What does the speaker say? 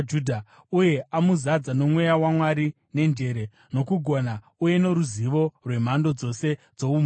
uye amuzadza noMweya waMwari, nenjere, nokugona uye noruzivo rwemhando dzose dzoumhizha,